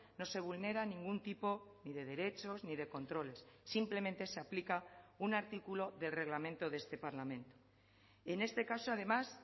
no se vulnera ningún tipo ni de derechos ni de controles simplemente se aplica un artículo del reglamento de este parlamento en este caso además